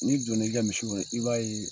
n'i donn'i ka misi kɔrɔ i b'a ye